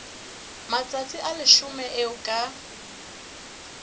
matsatsi a leshome eo ka